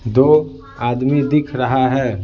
दो आदमी दिख रहा है।